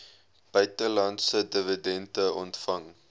buitelandse dividende ontvang